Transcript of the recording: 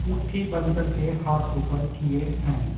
मुट्ठी बंद करके हाथों पर किए हैं।